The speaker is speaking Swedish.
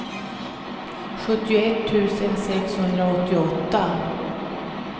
sjuttioett tusen sexhundraåttioåtta